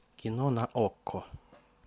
кино на окко